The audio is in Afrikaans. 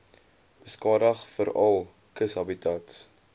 beskadig veral kushabitats